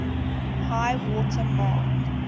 high water mark